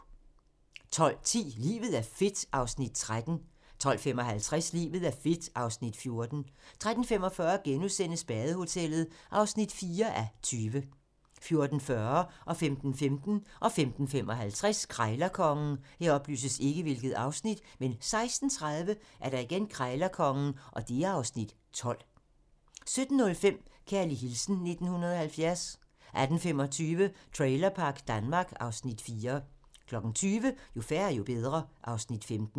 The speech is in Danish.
12:10: Livet er fedt (Afs. 13) 12:55: Livet er fedt (Afs. 14) 13:45: Badehotellet (4:20)* 14:40: Krejlerkongen 15:15: Krejlerkongen 15:55: Krejlerkongen 16:30: Krejlerkongen (Afs. 12) 17:05: Kærlig hilsen 1970 18:25: Trailerpark Danmark (Afs. 4) 20:00: Jo færre, jo bedre (Afs. 15)